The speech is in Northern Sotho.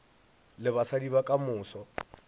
le basadi ba ka moso